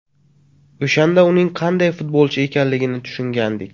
O‘shanda uning qanday futbolchi ekanligini tushungandik.